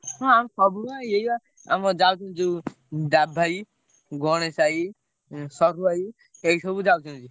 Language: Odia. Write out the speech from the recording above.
ହଁ ଆମେ ସବୁ ବା ଏଇ ବା ଆମ ଯାଉଛନ୍ତି ଯୋଉ ଡାବୁ ଭାଇ ଗଣେଶ ଭାଇ ଉଁ ସରୁ ଭାଇ ଏଇ ସବୁ ଯାଉଛନ୍ତି।